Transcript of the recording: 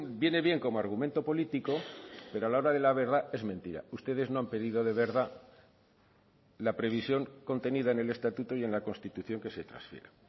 viene bien como argumento político pero a la hora de la verdad es mentira ustedes no han pedido de verdad la previsión contenida en el estatuto y en la constitución que se transfiera